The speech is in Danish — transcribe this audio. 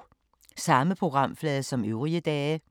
Samme programflade som øvrige dage